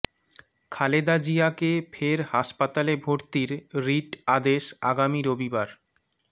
খালেদা জিয়াকে ফের হাসপাতালে ভর্তির রিট আদেশ আগামী রবিবার